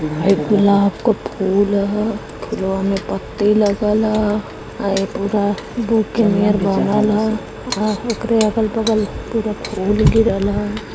ए गुलाब का फूल ह फुलवा में पत्ते लगल ह ए पूरा बुके नियर बनल ह उकरे अगल बगल पूरे फूल गिरल।